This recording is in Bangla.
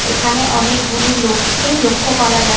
এখানে অনেক গুলি লোক কে লক্ষ্য করা যায় ।